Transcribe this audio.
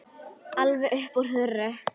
Alveg upp úr þurru?